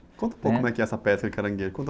Conta um pouco como é essa pesca de caranguejo, conta...